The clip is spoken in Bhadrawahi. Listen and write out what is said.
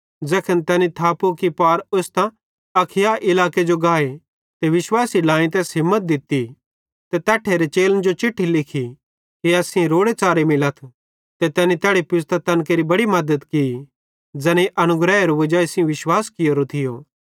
ज़ैखन तैनी थापू कि पार ओस्तां अखाया इलाके जो गाए ते विश्वासी ढ्लाएईं तैस हिम्मत दित्ती ते तैट्ठेरे चेलन जो चिट्ठी लिखी कि एस सेइं रोड़ेच़ारे मिलाथ ते तैनी तैड़ी पुज़तां तैन केरि बड़ी मद्दत की ज़ैनेईं अनुग्रहेरे वजाई सेइं विश्वास कियोरो थियो